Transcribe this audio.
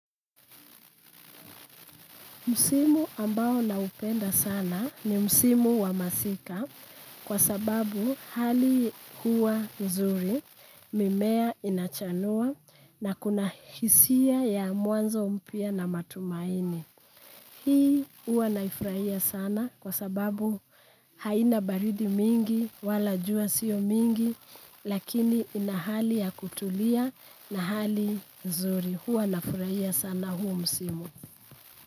Msimu ambao naupenda sana, ni msimu wa masika kwa sababu hali huwa nzuri mimea inachanua na kuna hisia ya mwanzo mpya na matumaini. Hii huwa naifrahia sana kwa sababu haina baridi mingi wala jua sio mingi lakini ina hali ya kutulia na hali nzuri. Huwa nafurahia sana huo msimu.